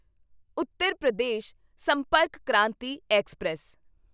Uttar Pradesh Sampark Kranti express